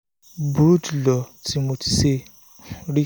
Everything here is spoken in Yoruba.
burú jùlọ tí mo tíì ṣe rí